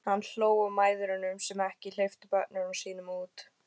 Hann hló að mæðrunum sem ekki hleyptu börnunum sínum út.